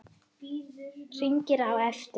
Hringi á eftir